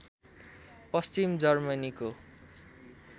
पश्चिम जर्मनीको